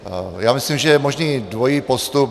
Já myslím, že je možný dvojí postup.